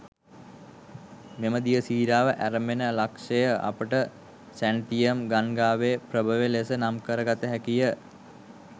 මෙම දිය සීරාව ඇරඹෙන ලක්ෂ්‍යය අපට සැන්තියම් ගංගාවේ ප්‍රභවය ලෙස නම් කර ගත හැකිය.